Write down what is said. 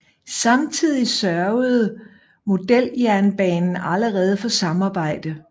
Samtidig sørgede Modeljernbanen allerede for samarbejde